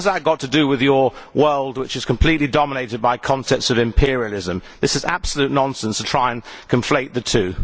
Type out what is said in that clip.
What has that got to do with your world, which is completely dominated by concepts of imperialism? It is absolute nonsense to try to conflate the two.